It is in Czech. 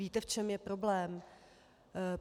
Víte, v čem je problém?